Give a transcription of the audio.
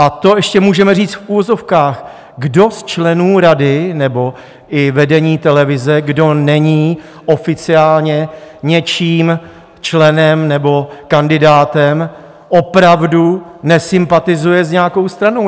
A to ještě můžeme říct v uvozovkách, kdo z členů rady nebo i vedení televize, kdo není oficiálně něčím členem nebo kandidátem, opravdu nesympatizuje s nějakou stranou?